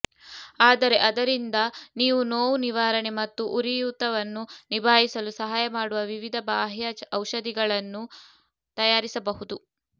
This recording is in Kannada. ಆದರೆ ಅದರಿಂದ ನೀವು ನೋವು ನಿವಾರಣೆ ಮತ್ತು ಉರಿಯೂತವನ್ನು ನಿಭಾಯಿಸಲು ಸಹಾಯ ಮಾಡುವ ವಿವಿಧ ಬಾಹ್ಯ ಔಷಧಿಗಳನ್ನು ತಯಾರಿಸಬಹುದು